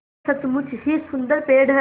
यह सचमुच ही सुन्दर पेड़ है